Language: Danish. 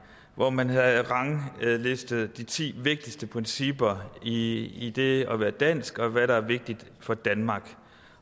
hvor man havde ranglistet de ti vigtigste principper i det at være dansk og hvad der er vigtigt for danmark